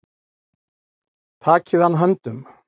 Takið hann höndum.